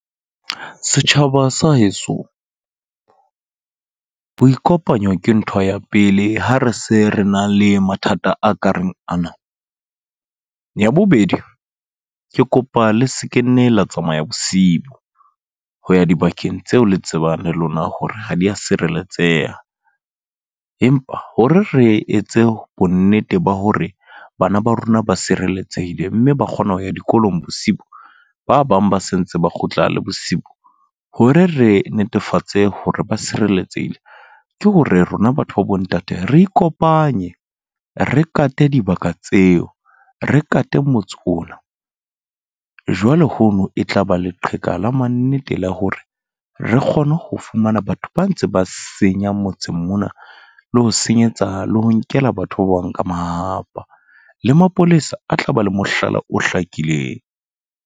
Setjhaba sa heso. Ho ikopanya ke ntho ya pele ha re se re nang le mathata a ka reng ana. Ya bobedi, ke kopa le sekenne la tsamaya bosibo. Jo ya dibakeng tseo le tsebang le lona hore ha dia sireletsehe. Empa hore re etse bonnete ba hore bana ba rona ba sireletsehile, mme ba kgona ho ya dikolong bosibu. Ba bang ba sentse ba kgutla le bosibu. Hore re netefatse hore ba sireletsehile. Ke hore rona batho ba bo ntate, re ikopanye re kate dibaka tseo, re kate motse ona. Jwale hono e tlaba leqheka la mannete la hore, re kgone ho fumana batho ba ntse ba senyang motseng mona. Le ho senyetsa, le ho nkela batho ba bang ka mahahapa. Le mapolesa, a tla ba le mohlala o hlakileng.